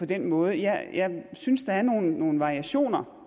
den måde jeg synes der er nogle variationer